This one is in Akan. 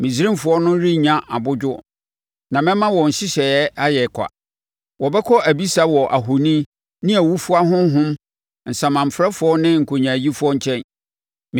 Misraimfoɔ no renya abodwo, na mɛma wɔn nhyehyɛeɛ ayɛ ɔkwa. Wɔbɛkɔ abisa wɔ ahoni, ne awufoɔ ahonhom, asamanfrɛfoɔ ne nkonyaayifoɔ nkyɛn.